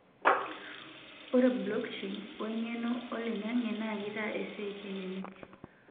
ore blockchain oo eng'eno oo oloing'ang'e naa kitaa esiai kelelek